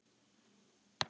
Hvernig og hvar vex ananas?